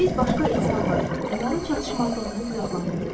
Biz başqa insanları və onların çatışmazlığını günahlandırırıq.